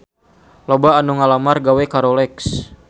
Loba anu ngalamar gawe ka Rolex